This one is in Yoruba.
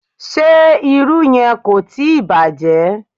Ṣé irú yẹn kò tíì bàjẹ́?